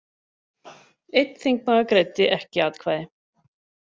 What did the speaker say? Einn þingmaður greiddi ekki atkvæði